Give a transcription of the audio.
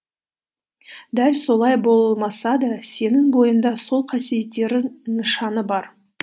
дәл солай болмаса да сенің бойыңда сол қасиеттерің нышаны бар